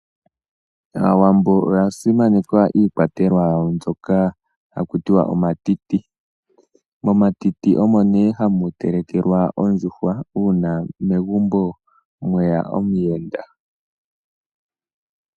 Aawambo oya simaneka iikwatelwa mbyoka kakutiwa omatiti, metiti omo nee hamu telekelwa ondjuhwa uuna megumbo mweya omuyenda.